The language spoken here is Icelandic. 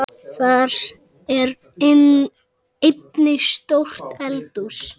Þar er einnig stórt eldhús.